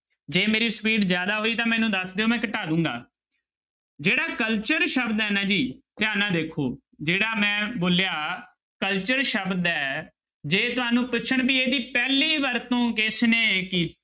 ਜੇ ਮੇਰੀ speed ਜ਼ਿਆਦਾ ਹੋਈ ਤਾਂ ਮੈਨੂੰ ਦੱਸ ਦਿਓ ਮੈਂ ਘਟਾ ਦੇਵਾਂਗਾ ਜਿਹੜਾ culture ਸ਼ਬਦ ਹੈ ਨਾ ਜੀ ਧਿਆਨ ਨਾਲ ਦੇਖੋ ਜਿਹੜਾ ਮੈਂ ਬੋਲਿਆ culture ਸ਼ਬਦ ਹੈ ਜੇ ਤੁਹਾਨੂੰ ਪੁੱਛਣ ਵੀ ਇਹਦੀ ਪਹਿਲੀ ਵਰਤੋਂ ਕਿਸਨੇ ਕੀ~